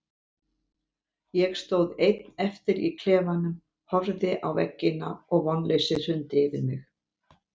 Ég stóð einn eftir í klefanum, horfði á veggina og vonleysið hrundi yfir mig.